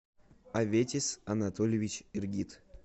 аветис анатольевич иргид